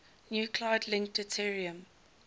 nuclide link deuterium